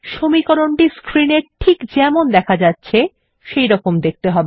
সমীকরণ টি স্ক্রিন এ যেমন দেখা যাচ্ছে সেইরকম দেখতে হবে